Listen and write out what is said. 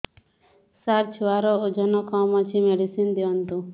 ସାର ଛୁଆର ଓଜନ କମ ଅଛି ମେଡିସିନ ଦିଅନ୍ତୁ